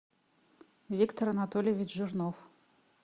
виктор анатольевич жирнов